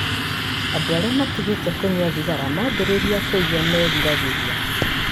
Andũ arĩa matigĩte kũnyua thigara mambĩrĩria kũigua meriragĩria.